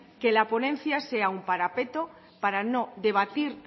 que la ponencia sea un parapeto para no debatir